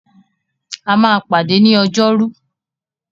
A máa pàdé ni Ọjọ́rú.